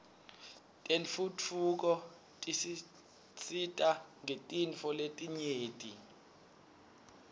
tentfutfuko tisisita ngetintfo letinyenti